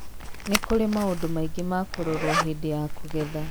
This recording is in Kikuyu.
Nĩ kũrĩ maũndũ maingĩ ma kũrorwo hĩndĩ ya kũgetha.